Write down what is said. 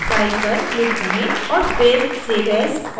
और फिर save as option पर click करें